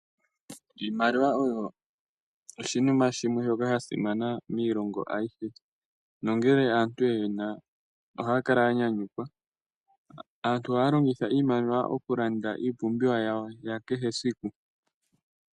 Iimaliwa oyo oshinima shimwe shoka sha simana miilongo ayihe, nongele aantu ye yi na ohaya kala ya nyanyukwa. Aantu ohaya longitha iimaliwa okulanda iipumbiwa yawo ya kehe siku.